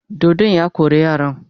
Dodon ya kore yaran.